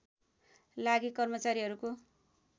लागि कर्मचारीहरूको